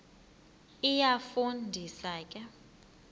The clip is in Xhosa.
iyafu ndisa ke